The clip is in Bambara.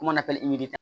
Ko mana kɛ yiri ta